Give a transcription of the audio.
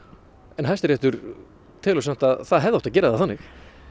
en Hæstiréttur telur samt að það hefði átt að gera það þannig